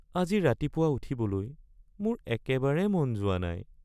আজি ৰাতিপুৱা উঠিবলৈ মোৰ একেবাৰে মন যোৱা নাই